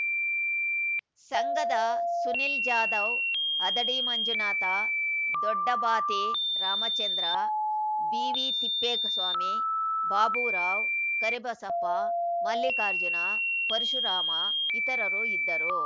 ಸಂಘದ ಸುನಿಲ್‌ ಜಾಧವ್‌ ಹದಡಿ ಮಂಜುನಾಥ ದೊಡ್ಡಬಾತಿ ರಾಮಚಂದ್ರ ಬಿವಿತಿಪ್ಪೇಸ್ವಾಮಿ ಬಾಬುರಾವ್‌ ಕರಿಬಸಪ್ಪ ಮಲ್ಲಿಕಾರ್ಜುನ ಪರಶುರಾಮ ಇತರರು ಇದ್ದರು